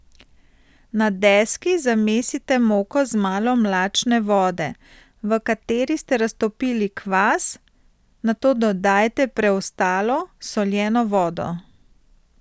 Na deski zamesite moko z malo mlačne vode, v kateri ste raztopili kvas, nato dodajte preostalo, soljeno vodo.